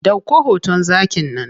Ɗauko hoton zakin nan.